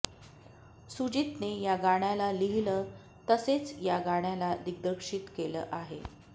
सुजितने या गाण्याला लिहिलं तसेच या गाण्याला दिग्दर्शित केलं आहे